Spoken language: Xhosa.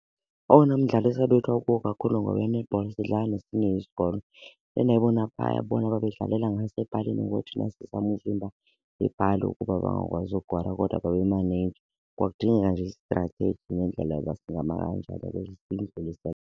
Owona mdlalo esabethwa kuwo kakhulu ngowe-netball sidlala nesinye isikolo endayibona phaya bona babedlalela ngasepalini. Ngoku thina sizama uvimba iipali ukuba bangakwazi ukora kodwa babe babemaneyija. Kwakudingeka nje i-strategy nendlela yoba singama kanjani .